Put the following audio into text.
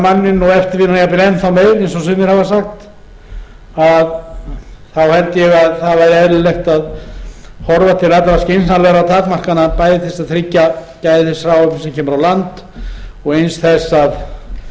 manninn og eftirvinna jafnvel enn þá meira eins og sumir hafa sagt þá held ég að það væri eðlilegt að horfa til allra skynsamlegra takmarkana bæði til að tryggja gæði þess hráefnis sem kemur á landi og eins þess að